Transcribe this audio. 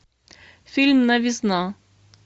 фильм новизна